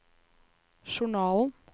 journalen